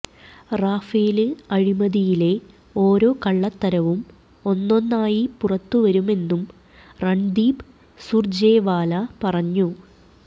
Rafael അഴിമതിയിലെ ഓരോ കള്ളത്തരവും ഒന്നൊന്നായി പുറത്തുവരുമെന്നും രണ്ദീപ് സുര്ജേവാല പറഞ്ഞു